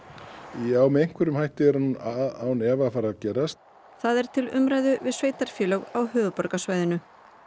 já með einhverjum hætti er hún án efa að fara að gerast það er til umræðu við sveitarfélög á höfuðborgarsvæðinu